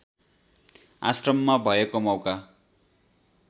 आश्रममा भएको मौका